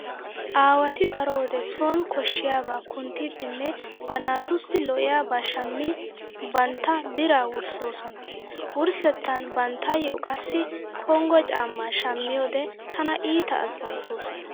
Aawati daro wode sooni koshshiyaabaa kunttiiddinne ba naatussi lo"iyaaba shammi bantta biraa wurssoosona. Wurssettan banttayyo qassi konggo caammaa shammiyode tana iita azzanttoosona.